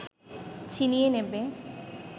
ছিনিয়ে নেবে